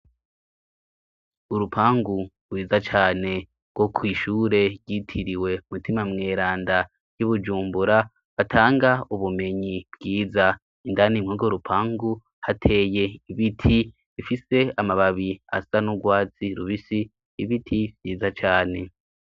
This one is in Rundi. Urupangu rwiza cane rwo kw'ishure ryitiriwe Mutima mweranda ry'i Bujumbura, batanga ubumenyi bwiza, indani muri urwo rupangu, hateye ibiti bifise amababi asa n'urwatsi rubisi, ibiti vyiza cane.